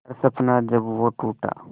हर सपना जब वो टूटा